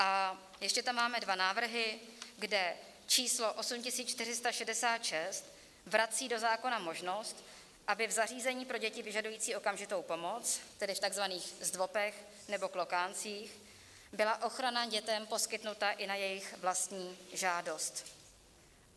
A ještě tam máme dva návrhy, kde číslo 8466 vrací do zákona možnost, aby v zařízení pro děti vyžadující okamžitou pomoc, tedy v tzv. zdvopech nebo klokáncích, byla ochrana dětem poskytnuta i na jejich vlastní žádost.